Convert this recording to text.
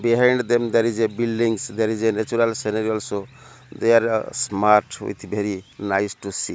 behind them there is a buildings there is a natural scenery also there smart with bery nice to see.